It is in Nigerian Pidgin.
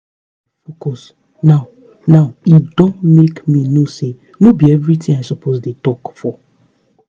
as i don dey calm down dey focus now now e don make me know say no be everything i suppose dey talk for.